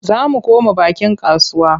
Za mu koma bakin kasuwa.